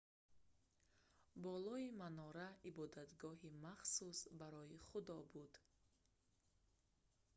болои манора ибодатгоҳи махсус барои худо буд